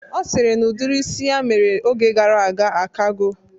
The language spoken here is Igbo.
Ọ sịrị na udiri isi ya mere oge gara aga akago